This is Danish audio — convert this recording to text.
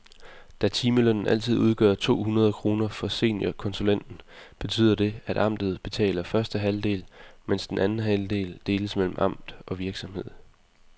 Da timelønnen altid udgør to hundrede kroner for seniorkonsulenten, betyder det, at amtet betaler første halvdel, mens den anden halvdel deles mellem amt og virksomhed.